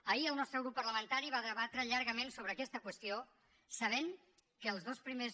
ahir el nostre grup parlamentari va debatre llargament sobre aquesta qüestió sabent que els dos primers